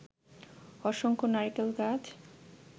অসংখ্য নারিকেল গাছ